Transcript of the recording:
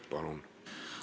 Palun!